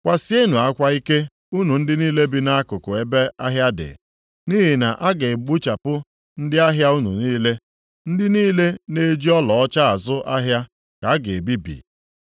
Kwasienụ akwa ike unu ndị niile bi nʼakụkụ ebe ahịa dị; nʼihi na a ga-egbuchapụ ndị ahịa unu niile. Ndị niile na-eji ọlaọcha azụ ahịa ka a ga-ebibi.